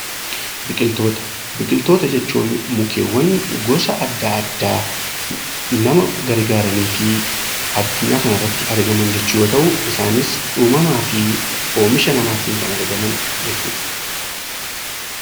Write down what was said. Biqiltoota Biqiltoota jechuun mukkeewwan gosa addaa addaa nama gargaaranii fi adunyaa kana irratti argaman yemmuu ta'u, isaanis uumamaa fi Oomisha namaatiin kan argaman jechuudha.